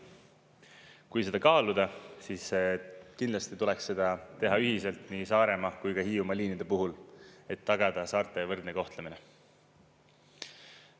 Kui seda kaaluda, siis kindlasti tuleks seda teha ühiselt nii Saaremaa kui ka Hiiumaa liinide puhul, et tagada saarte võrdne kohtlemine.